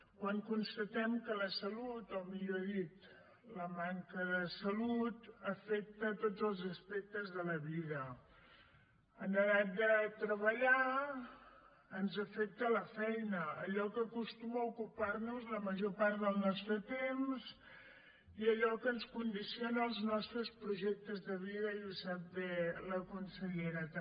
quan constatem que la salut o millor dit la manca de salut afecta tots els aspectes de la vida en edat de treballar ens afecta la feina allò que acostuma a ocupar nos la major part del nostre temps i allò que ens condiciona els nostres projectes de vida i ho sap bé la consellera també